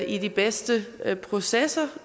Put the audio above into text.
i de bedste processer